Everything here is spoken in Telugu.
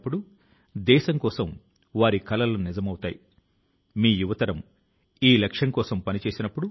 మీరు పాఠశాల లో సాధారణం గా ఉండవచ్చు కానీ జీవితం లో రాబోయే విషయాల కు ఇది కొలమానం కాదు